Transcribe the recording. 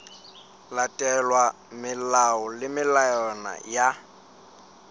latelwa melao le melawana ya